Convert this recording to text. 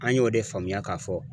An y'o de faamuya k'a fɔ